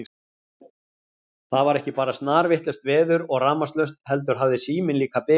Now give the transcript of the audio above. Það var ekki bara snarvitlaust veður og rafmagnslaust heldur hafði síminn líka bilað.